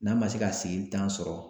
N'a ma se ka sigili tan sɔrɔ